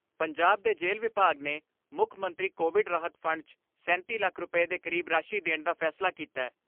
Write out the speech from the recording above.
ਪੰਜਾਬ ਦੇ ਜੇਲ੍ਹ ਵਿਭਾਗ ਨੇ ਮੁੱਖ ਮੰਤਰੀ ਕੋਵਿਡ ਰਾਹਤ ਫੰਡ 'ਚ ਸੈਂਤੀ ਲੱਖ ਰੁਪੈ ਦੇ ਕਰੀਬ ਰਾਸ਼ੀ ਦੇਣ ਦਾ ਫੈਸਲਾ ਕੀਤੈ।